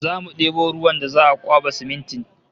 Zamu debo ruwan da za'a kwaba siminti